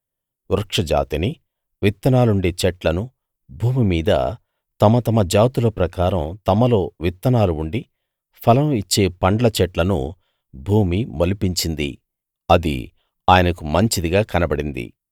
వృక్ష జాతిని విత్తనాలుండే చెట్లను భూమిమీద తమ తమ జాతుల ప్రకారం తమలో విత్తనాలు ఉండి ఫలం ఇచ్చే పండ్ల చెట్లను భూమి మొలిపించింది అది ఆయనకు మంచిదిగా కనబడింది